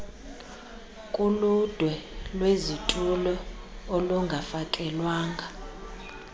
kuludwe lwezitulo olungafakelwanga